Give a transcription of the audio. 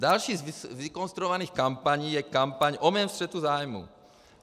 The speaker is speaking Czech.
Další z vykonstruovaných kampaní je kampaň o mém střetu zájmů.